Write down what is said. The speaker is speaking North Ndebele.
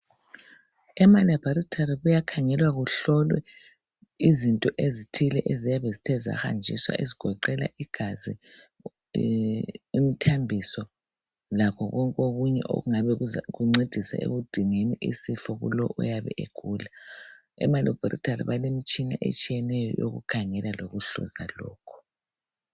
emalabharitholi kuyakhangelwa kuhlolwe izinto ezithele eziyabe zithe zahanjiswa eziyabe zigoqela igazi, imithambiso lakho konke okunye okunga kuncedise ekudingeni isifo koyabe egula emalebhorithali balemitshina etshiyeneyo yokukhangela lokuhluza lokhu.